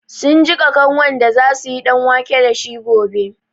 Sun jiƙa kanwan da za su yi ɗanwake da shi gobe.